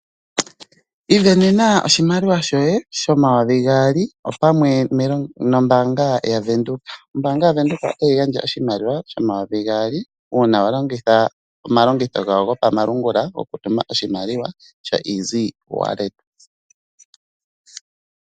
Ivenenena oshimaliwa shoye shomayovi gaali opamwe nombaanga yaVenduka. Oombaanga yaVenduka ota yi gandja oshimaliwa shomayovi gaali uuna wa longitha omalongitho gawo gopamalungula okutuma oshimaliwa shoEasy-Wallet.